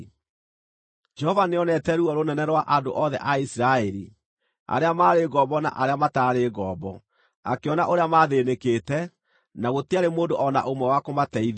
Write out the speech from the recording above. Jehova nĩonete ruo rũnene rwa andũ othe a Isiraeli, arĩa maarĩ ngombo na arĩa mataarĩ ngombo, akĩona ũrĩa maathĩĩnĩkĩte, na gũtiarĩ mũndũ o na ũmwe wa kũmateithia.